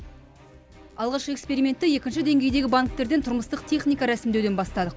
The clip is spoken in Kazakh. алғашқы экспериментті екінші деңгейдегі банктерден тұрмыстық техника рәсімдеуден бастадық